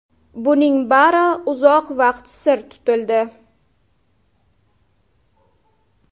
Buning bari uzoq vaqt sir tutildi.